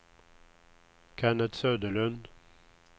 Kennet Söderlund